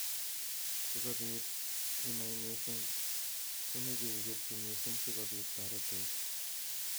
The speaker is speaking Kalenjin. Sikobit inai eng missing komeche iketyi missing sikobit torete.